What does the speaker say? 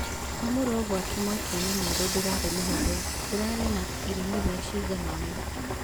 Kwamũrwo gwake mweke-inĩ mwerũ ndũrarĩ mũhũthũ, ũrari na iremithia ciganona